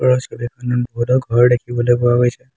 ওপৰৰ ছবিখনত বহুতো ঘৰ দেখিবলৈ পোৱা গৈছে।